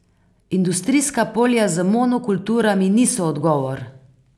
Industrijska polja z monokulturami niso odgovor.